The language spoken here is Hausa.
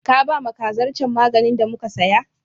Ka bama kazar can maganin da muka saya?